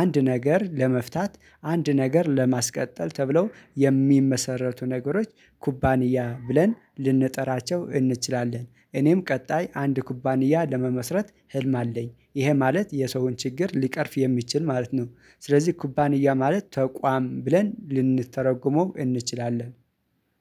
አንድ ነገር ለመፍታት አንድ ነገር ለማስቀጠል ተብለው የሚመሰረቱ ነገሮች ኩባንያ ብለን ልንጠራቸው እንችላለን። እኔም ቀጣይ አንድ ኩባንያ ለመመስረት ህልም አለኝ። ይሄ ማለት የሰውን ችግር ሊቀርፍ የሚችል ማለት ነው። ስለዚህ ኩባንያ ማለት ተቋም ብለን ልንተረጉመው እንችላለን።